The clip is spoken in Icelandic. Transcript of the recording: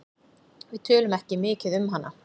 Við tölum ekki mikið um hana.